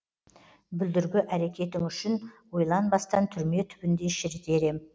бүлдіргі әрекетің үшін ойланбастан түрме түбінде шірітер ем